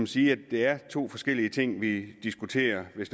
sige at det er to forskellige ting vi diskuterer